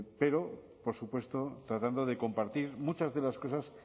pero por supuesto tratando de compartir muchas de las cosas